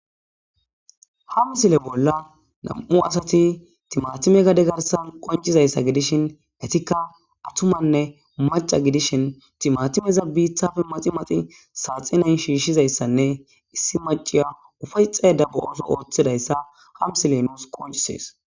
Ha misile bolla nam'u asati timatime gade garsan qoncidaysa gidishin etika attumane maca gidishin timatimeza bitappe maximaxi saxine shishizaysa gidishin